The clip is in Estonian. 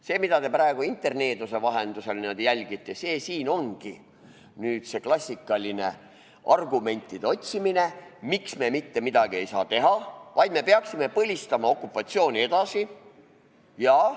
See, mida te praegu interneeduse vahendusel jälgite, ongi klassikaline argumentide otsimine, miks me mitte midagi ei saa teha, vaid peaksime okupatsiooni edasi põlistama.